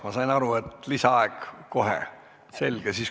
Ma sain aru, et soovite kohe lisaaega.